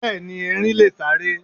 Béeni, Erin leè sáré